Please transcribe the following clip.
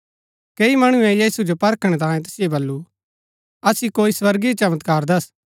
कैई मणुऐ यीशु जो परखणै तांयें तैसिओ बल्लू असिओ कोई स्वर्गीय चमत्कार दस्स